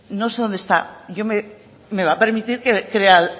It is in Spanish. no sé dónde está yo me va a permitir que crea